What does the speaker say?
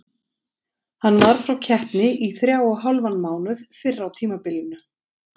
Hann var frá keppni í þrjá og hálfan mánuð fyrr á tímabilinu.